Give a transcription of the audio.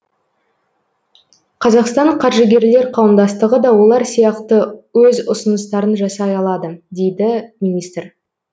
қазақстан қаржыгерлер қауымдастығы да олар сияқты өз ұсыныстарын жасай алады дейді министр